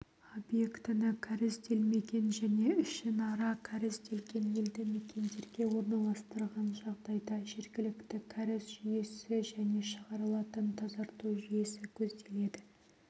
объектіні кәрізделмеген және ішінара кәрізделген елді мекендерге орналастырған жағдайда жергілікті кәріз жүйесі және шығарылатын тазарту жүйесі көзделеді